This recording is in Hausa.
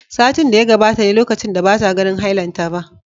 Satin da ya gabata ne lokacin da bata ganin hailanta ba